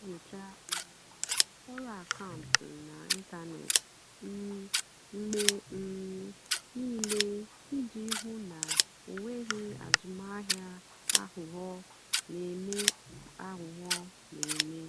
ọ́ nà-ènyócha um ọ́rụ́ àkàụ́ntụ́ n'ị́ntánètị́ um mgbe um níìlé ìjì hụ́ ná ọ́ nwèghị́ àzụ́mahìá àghụ́ghọ́ nà-èmè. àghụ́ghọ́ nà-èmè.